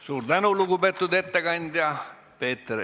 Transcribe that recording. Suur tänu, lugupeetud ettekandja!